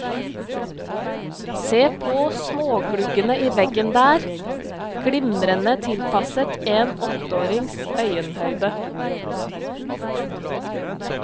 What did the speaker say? Se på smågluggene i veggen der, glimrende tilpasset en åtteårings øyenhøyde.